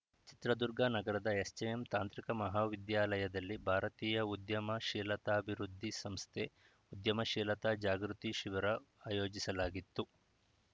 ಚಿತ್ರದುರ್ಗ ನಗರದ ಎಸ್‌ಜೆಎಂ ತಾಂತ್ರಿಕ ಮಹಾವಿದ್ಯಾಲಯದಲ್ಲಿ ಭಾರತೀಯ ಉದ್ಯಮಶೀಲತಾಭಿವೃದ್ಧಿ ಸಂಸ್ಥೆ ಉದ್ಯಮಶೀಲತಾ ಜಾಗೃತಿ ಶಿಬಿರ ಆಯೋಜಿಸಲಾಗಿತ್ತು